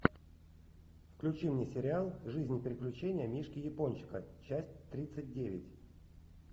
включи мне сериал жизнь и приключения мишки япончика часть тридцать девять